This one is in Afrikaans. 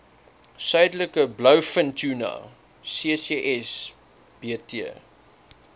suidelike blouvintuna ccsbt